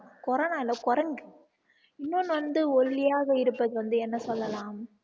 corona இல்ல குரங்கு இன்னொன்னு வந்து ஓல்லியாக இருப்பது வந்து என்ன சொல்லலாம்